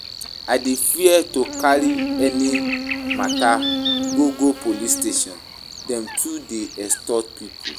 I dey fear to carry any mata go go police station, dem too dey extort pipo.